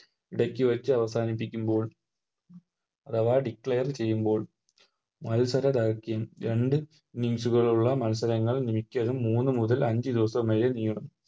ഇടക്ക് വെച്ച് അവസാനിപ്പിക്കുമ്പോൾ അഥവാ Over ചെയ്യുമ്പോൾ മത്സര രാജ്യം രണ്ട് Innings കളുള്ള മത്സരങ്ങൾ മിക്കതും മൂന്ന് മുതൽ അഞ്ച് ദിവസം വരെ നീളുന്നു